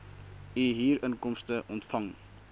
u huurinkomste ontvang